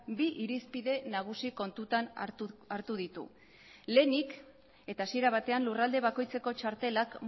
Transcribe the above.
bi irizpide nagusi kontutan hartu ditu lehenik eta hasiera batean lurralde bakoitzeko txartelak